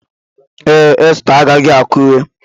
Ee, Esther agaghị Akure.